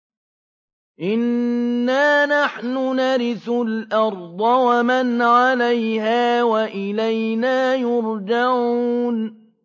إِنَّا نَحْنُ نَرِثُ الْأَرْضَ وَمَنْ عَلَيْهَا وَإِلَيْنَا يُرْجَعُونَ